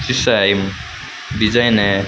सीसा है ईम डिजाइन है।